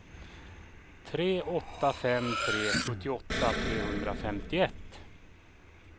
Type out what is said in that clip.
tre åtta fem tre sjuttioåtta sjuhundrafemtioett